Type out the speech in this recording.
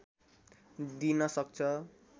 दिन सक्छ